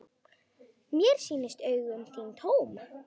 Mér sýnast augu þín tóm.